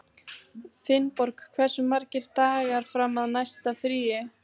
Finnborg, hversu margir dagar fram að næsta fríi?